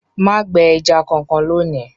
Má gbẹ ẹja kankan lónìí!